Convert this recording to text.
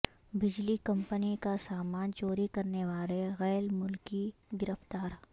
بجلی کمپنی کا سامان چوری کرنے والے غیر ملکی گرفتار